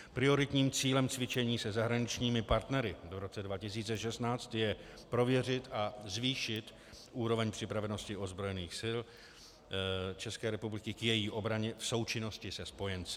Prioritním cílem cvičení se zahraničními partnery v roce 2016 je prověřit a zvýšit úroveň připravenosti ozbrojených sil České republiky k její obraně v součinnosti se spojenci.